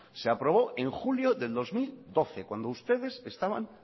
se aprobó en julio de dos mil doce cuando ustedes estaban